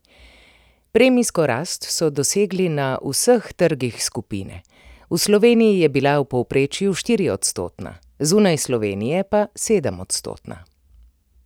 Premijsko rast so dosegli na vseh trgih skupine, v Sloveniji je bila v povprečju štiriodstotna, zunaj Slovenije pa sedemodstotna.